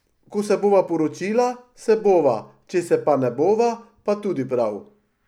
Ko se bova poročila, se bova, če se pa ne bova, pa tudi prav.